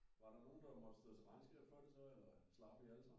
Var der nogen der måtte stå til regnskab for det så eller slap I alle sammen